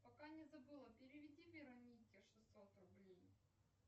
пока не забыла переведи веронике шестьсот рублей